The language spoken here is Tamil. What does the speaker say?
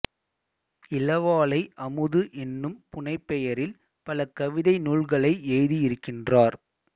இளவாலை அமுது என்னும் புனைபெயரில் பல கவிதை நூல்களை எழுதியிருக்கின்றார்